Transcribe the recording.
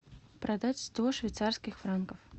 продать сто швейцарских франков